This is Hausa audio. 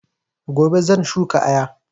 Gobe shan shuka ayaba